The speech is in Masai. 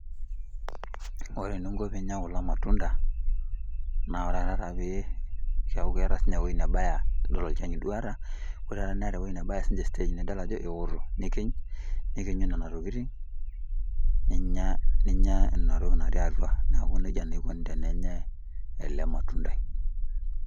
ore eninko pee inyia kulo matunda, naa ore taata pee keeku keeta sii ninye ewueji nebaya, idol olchani duo oota, ore taata neeta sii ninche stage nidol ajo eeoto. nikiny, nikinyu nena tokitin, ninyia, naa inattoki natii atua, neeku nejia naa ikoni tenenyae, ele matundai.